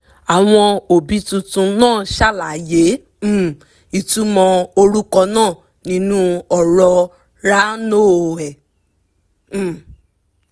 àwọn òbí tuntun náà ṣàlàyé um ìtumọ̀ orúkọ náà nínú ọ̀rọ̀ ráńoẹ́ um